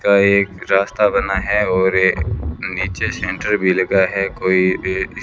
का एक रास्ता बना है और ए नीचे सेंटर भी लगा है कोई--